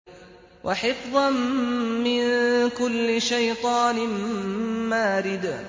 وَحِفْظًا مِّن كُلِّ شَيْطَانٍ مَّارِدٍ